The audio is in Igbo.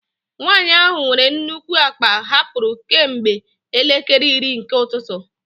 Nwanyị ahụ nwere nnukwu akpa hapụrụ kemgbe elekere iri nke ụtụtụ.